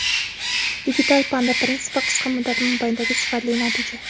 Digital Panda prinsipi qisqa muddat mobaynidagi sifatli natija.